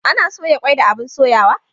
Ana soya kwai da abun soyawa